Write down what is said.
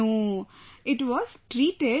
No, it was treated